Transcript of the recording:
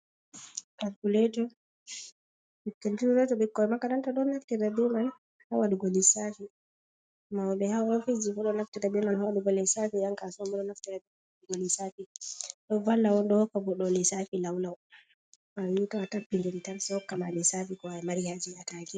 Kalkuleto ɓikkoi makaranta ɗon naftira be mai ha waɗugo lissafi, mauɓe ha ofisji fu ɗo naftira be mai ha waɗugo lissafi, yan kasuwa ma ɗo naftira da waɗugo lis safi ɗo valla on hokka goɗɗo lissafi lau lau bannin to tappidiri tan sei hokka ma lissafi ko a mari haaje a taake.